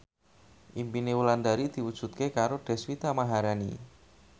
impine Wulandari diwujudke karo Deswita Maharani